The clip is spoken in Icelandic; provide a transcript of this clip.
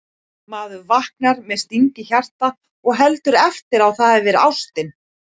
Maður vaknar með sting í hjarta og heldur eftir á að það hafi verið ástin